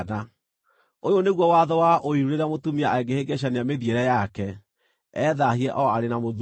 “ ‘Ũyũ nĩguo watho wa ũiru rĩrĩa mũtumia angĩhĩngĩcania mĩthiĩre yake, ethaahie o arĩ na mũthuuri,